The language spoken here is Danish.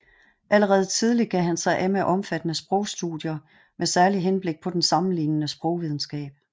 Allerede tidlig gav han sig af med omfattende sprogstudier med særligt henblik på den sammenlignende sprogvidenskab